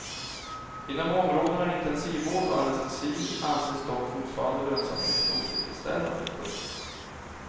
Inom områdena intensivvård och anestesi anses dock fortfarande lönsamheten otillfredsställande. punkt